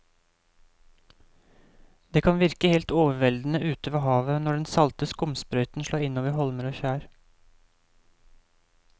Det kan virke helt overveldende ute ved havet når den salte skumsprøyten slår innover holmer og skjær.